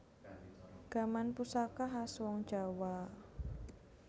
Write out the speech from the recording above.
Gaman pusaka khas wong jawa